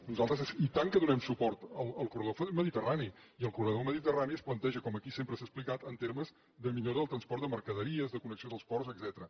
nosaltres i tant que donem suport al corredor mediterrani i el corredor mediterrani es planteja com aquí sempre s’ha explicat en termes de millora del transport de mercaderies de connexió dels ports etcètera